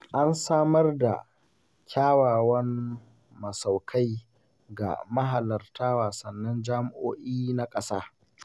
An samar da kyawawan masaukai ga mahalarta wasannin jami'o'i na ƙasa.